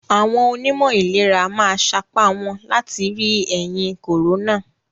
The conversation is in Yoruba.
Àwọn onímọ̀ ìlera ma sapa wọ́n láti ri ẹ̀yì còrónà.